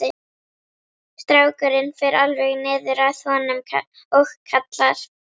Strákurinn fer alveg niður að honum og kallar